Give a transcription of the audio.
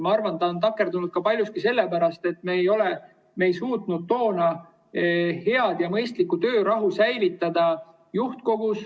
Ma arvan, ta on takerdunud paljuski sellepärast, et me ei suutnud toona juhtkogus head ja mõistlikku töörahu säilitada.